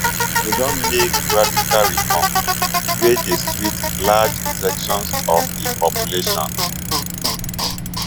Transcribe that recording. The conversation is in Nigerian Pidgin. im don make radical reforms wey dey sweet large sections of di population